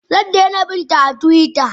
Zaidaina bina a twitter.